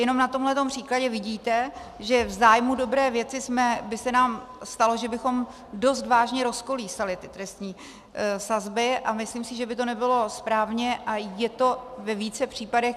Jenom na tomhle příkladě vidíte, že v zájmu dobré věci by se nám stalo, že bychom dost vážně rozkolísali ty trestní sazby, a myslím si, že by to nebylo správně, a je to ve více případech.